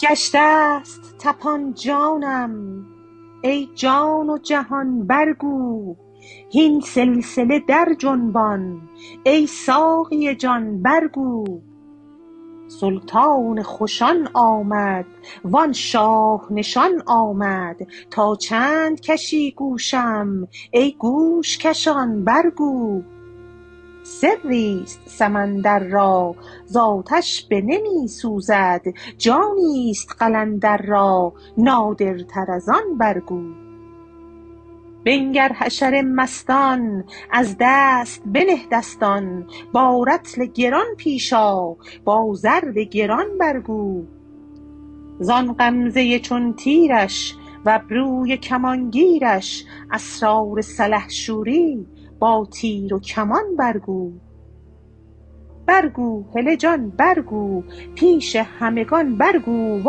گشته ست طپان جانم ای جان و جهان برگو هین سلسله درجنبان ای ساقی جان برگو سلطان خوشان آمد و آن شاه نشان آمد تا چند کشی گوشم ای گوش کشان برگو سری است سمندر را ز آتش بنمی سوزد جانی است قلندر را نادرتر از آن برگو بنگر حشر مستان از دست بنه دستان با رطل گران پیش آ با ضرب گران برگو زان غمزه چون تیرش و ابروی کمان گیرش اسرار سلحشوری با تیر و کمان برگو برگو هله جان برگو پیش همگان برگو و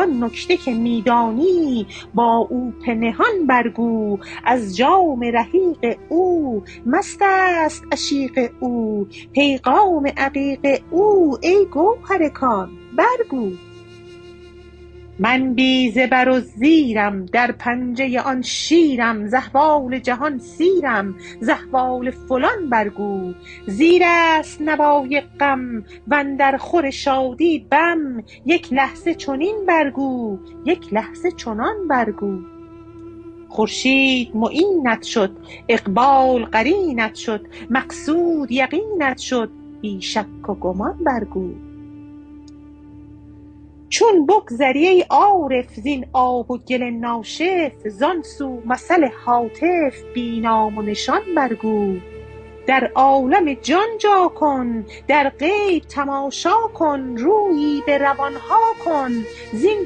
آن نکته که می دانی با او پنهان برگو از جام رحیق او مست است عشیق او پیغام عقیق او ای گوهر کان برگو من بی زبر و زیرم در پنجه آن شیرم ز احوال جهان سیرم ز احوال فلان برگو زیر است نوای غم و اندرخور شادی بم یک لحظه چنین برگو یک لحظه چنان برگو خورشید معینت شد اقبال قرینت شد مقصود یقینت شد بی شک و گمان برگو چون بگذری ای عارف زین آب و گل ناشف زان سو مثل هاتف بی نام و نشان برگو در عالم جان جا کن در غیب تماشا کن رویی به روان ها کن زین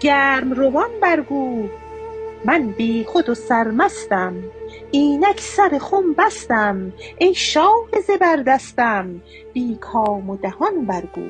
گرم روان برگو من بیخود و سرمستم اینک سر خم بستم ای شاه زبردستم بی کام و دهان برگو